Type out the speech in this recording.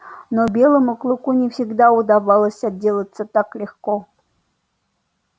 но белому клыку не всегда удавалось отделаться так легко